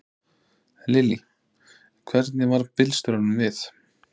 Lillý: Hvernig varð bílstjóranum við?